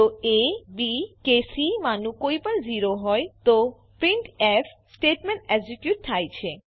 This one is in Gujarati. જો એ બી કે સી માંનું કોઈપણ 0 હોય તો પ્રિન્ટફ સ્ટેટમેંટ એક્ઝીક્યુટ થાય છે